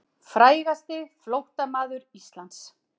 Frægasti flóttamaður Íslands.